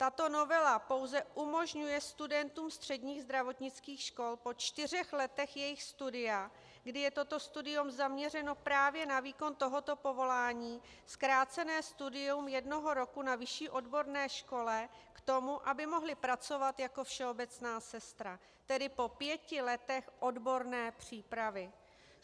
Tato novela pouze umožňuje studentům středních zdravotnických škol po čtyřech letech jejich studia, kdy je toto studium zaměřeno právě na výkon tohoto povolání, zkrácené studium jednoho roku na vyšší odborné škole k tomu, aby mohli pracovat jako všeobecná sestra - tedy po pěti letech odborné přípravy.